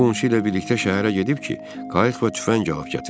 O qonşusu ilə birlikdə şəhərə gedib ki, qayıq və tüfəng alıb gətirsin.